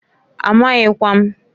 Amaghịkwa m.